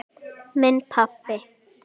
Minn pabbi.